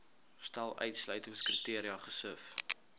stel uitsluitingskriteria gesif